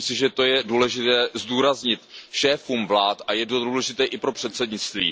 Myslím si, že to je důležité zdůraznit šéfům vlád, a je to důležité i pro předsednictví.